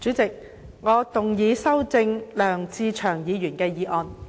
主席，我動議修正梁志祥議員的議案。